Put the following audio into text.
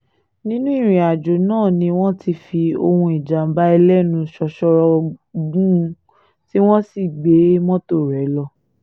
nínú ìrìn-àjò náà ni wọ́n ti fi ohùn ìjàm̀bá ẹlẹ́nu ṣóṣóró gùn ún tí wọ́n sì gbé mọ́tò rẹ̀ lọ